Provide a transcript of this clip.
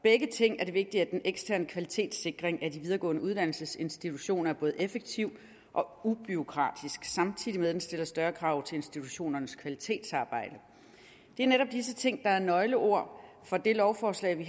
begge ting er det vigtigt at den eksterne kvalitetssikring af de videregående uddannelsesinstitutioner er både effektiv og ubureaukratisk samtidig med at den stiller større krav til institutionernes kvalitetsarbejde det er netop disse ting der er nøgleord for det lovforslag vi